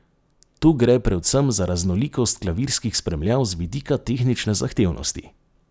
Tu gre predvsem za raznolikost klavirskih spremljav z vidika tehnične zahtevnosti.